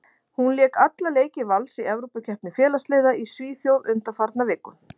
Hún lék alla leiki Vals í Evrópukeppni félagsliða í Svíþjóð undanfarna viku.